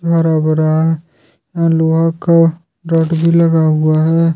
हरा भरा अ लोहा का रॉड भी लगा हुआ है।